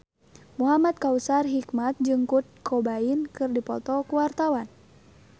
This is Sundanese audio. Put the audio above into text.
Muhamad Kautsar Hikmat jeung Kurt Cobain keur dipoto ku wartawan